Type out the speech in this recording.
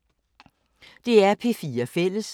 DR P4 Fælles